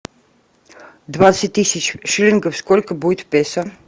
двадцать тысяч шиллингов сколько будет в песо